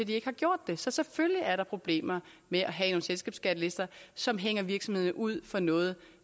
de ikke har gjort det så selvfølgelig er der problemer med at have nogle selskabsskattelister som hænger virksomhederne ud for noget